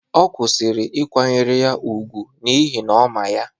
Ọ kwụsịrị ịkwanyere ya ùgwù n’ihi na ọ ma ya